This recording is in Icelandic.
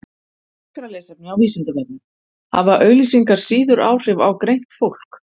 Frekara lesefni á Vísindavefnum Hafa auglýsingar síður áhrif á greint fólk?